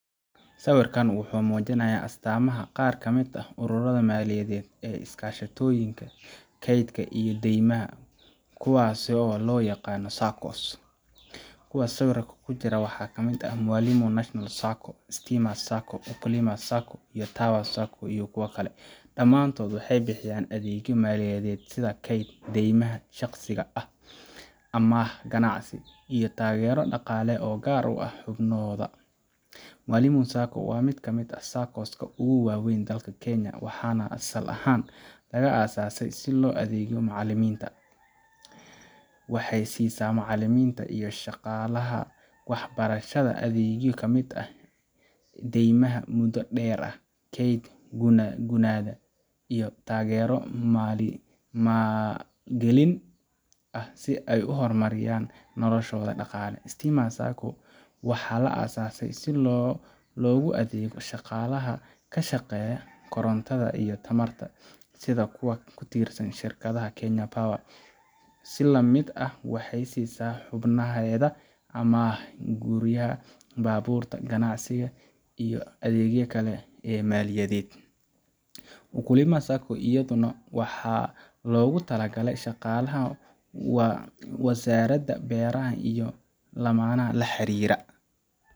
Sawirkan wuxuu muujinayaa astaamaha qaar ka mid ah ururrada maaliyadeed ee iskaashatooyinka kaydka iyo deymaha, kuwaasoo loo yaqaan Saccos. Kuwa sawirka ku jira waxaa ka mid ah Mwalimu National Sacco, Stima Sacco, Ukulima Sacco, iyo Tower Sacco. Dhammaantood waxay bixiyaan adeegyo maaliyadeed sida kayd, deymaha shaqsiga ah, amaah ganacsi iyo taageero dhaqaale oo u gaar ah xubnahooda. Mwalimu Sacco waa mid ka mid ah Saccos ka ugu weyn dalka Kenya, waxaana asal ahaan la aasaasay si loogu adeego macallimiinta. Waxay siisaa macallimiinta iyo shaqaalaha waxbarashada adeegyo ay ka mid yihiin deymaha muddo dheer ah, keydka gunnada, iyo taageero maalgelin ah si ay u horumariyaan noloshooda dhaqaale. Stima Sacco waxaa la aasaasay si loogu adeego shaqaalaha ka shaqeeya korontada iyo tamarta, sida kuwa ka tirsan shirkadda Kenya Power. Si la mid ah, waxay siisaa xubnaheeda amaahaha guryaha, baabuurta, ganacsiga, iyo adeegyada kale ee maaliyadeed. Ukulima Sacco iyaduna waxaa loogu talagalay shaqaalaha wasaaradda beeraha iyo laamaha la xiriira.